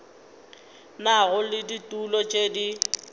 nago le ditulo tše di